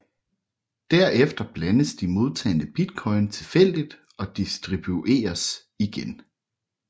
Derefter blandes de modtagne bitcoin tilfældigt og distribueres igen